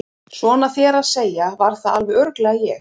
Svona þér að segja var það alveg örugglega ég